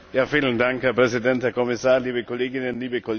Herr Präsident, Herr Kommissar, liebe Kolleginnen, liebe Kollegen!